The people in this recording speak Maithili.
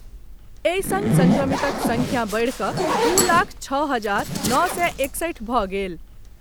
एहि संग संक्रमितक संख्या बढ़ि कऽ दू लाख छओ हजार नओ सय एकसठि भऽ गेल।